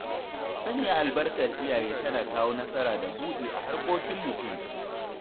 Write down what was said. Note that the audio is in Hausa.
Sanya albarkar iyaye tana kawo nasara da buɗi a harkokin mutum.